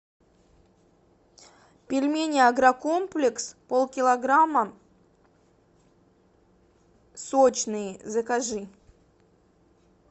пельмени агрокомплекс полкилограмма сочные закажи